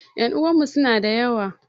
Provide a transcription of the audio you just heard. Ƴan uwanmu suna da yawa